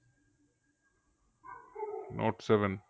note seven